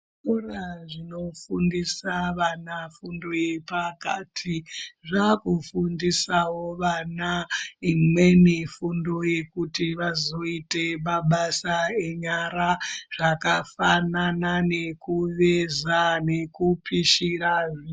Zvikora zvinofundise vana fundo yepakati zvakufundisavo vana, imweni fundo yekuti vazoite mabasa enyara zvakafanana nekuveza nekupisira zvi.